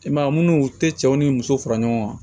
I m'a ye munnu u tɛ cɛw ni muso fara ɲɔgɔn kan